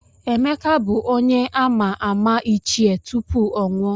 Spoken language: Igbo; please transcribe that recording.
Emeka bụ onye a]ma ama Ichie tupu ọ nwụọ.